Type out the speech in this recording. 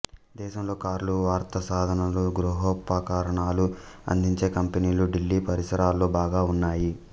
దేశంలో కార్లు వార్తాసాధనాలు గృహోపకరణాలు అందించే కంపెనీలు ఢిల్లీ పరిసరాలలో బాగా ఉన్నాయి